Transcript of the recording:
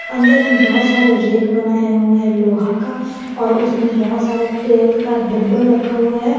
अंदर में बहुत सारे रैक बनाए हुए हैं लोहा का और उसमें बहुत सारे तेल का डब्बा रखा हुआ है।